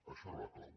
això era la clau